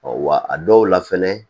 Ɔ wa a dɔw la fɛnɛ